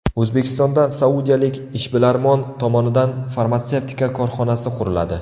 O‘zbekistonda saudiyalik ishbilarmon tomonidan farmatsevtika korxonasi quriladi.